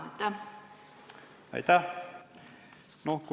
Aitäh!